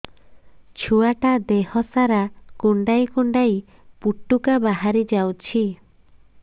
ଛୁଆ ଟା ଦେହ ସାରା କୁଣ୍ଡାଇ କୁଣ୍ଡାଇ ପୁଟୁକା ବାହାରି ଯାଉଛି